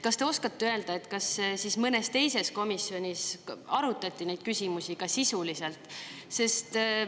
Kas te oskate öelda, kas siis mõnes teises komisjonis arutati neid küsimusi ka sisuliselt?